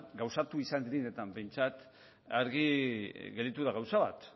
gauzatu direnetan behintzat argi gelditu da gauza bat